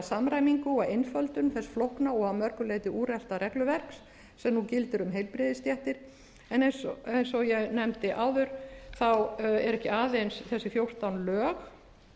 samræmingu og einföldun þess flókna og að mörgu leyti úrelta regluverks sem nú gildir um heilbrigðisstéttir en eins og ég nefndi áður eru ekki aðeins þessi fjórtán lög